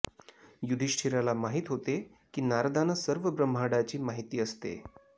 युधिष्ठिराला माहित होते की नारदांना सर्व ब्रम्हाडाची माहिती असते